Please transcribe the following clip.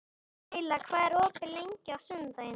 Leyla, hvað er opið lengi á sunnudaginn?